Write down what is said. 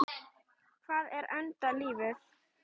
Hvað er enda lífið?